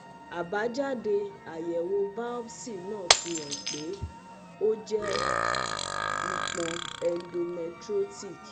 abájáde àyẹ̀wò biopsi náà fi hàn pé ó jẹ́ ìpọ́n endometriotic